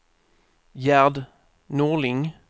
Gerd Norling